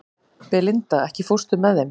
Belinda, ekki fórstu með þeim?